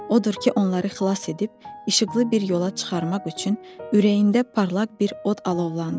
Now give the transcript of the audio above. Odur ki, onları xilas edib işıqlı bir yola çıxarmaq üçün ürəyində parlaq bir od alovlandı.